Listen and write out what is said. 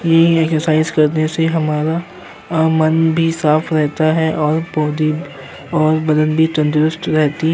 ये एक एक्सरसाइज करने से हमारा अ मन भी साफ रहता है और बॉडी और बदन भी तंदुरुस्त रहती --